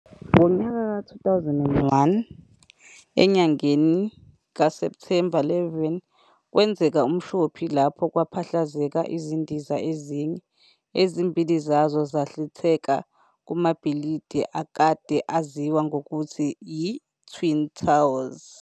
Ngonyaka ka 2001 enyangeni ka September 11, kwenzeka umshophi lapho kwaphahlazeka izindiza ezine, ezimbili zazo zanhlitheka kumabhilidi akade aziwa ngokuthi yi-"Twin towers".